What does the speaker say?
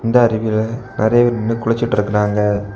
இந்த அறிவில நிறைய பேர் நின்னு குளிச்சிட்டு இருக்காங்க.